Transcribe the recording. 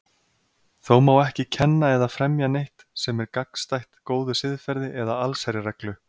Þó má ekki kenna eða fremja neitt sem er gagnstætt góðu siðferði eða allsherjarreglu.